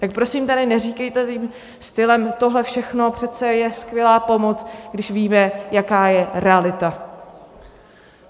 Tak prosím tady neříkejte tím stylem, tohle všechno přece je skvělá pomoc, když víme, jaká je realita!